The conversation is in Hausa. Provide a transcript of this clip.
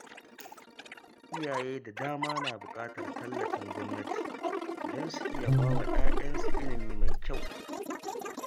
Iyaye da dama na buƙatar tallafin gwamnati don su iya bai wa ‘ya’yansu ilimi mai kyau.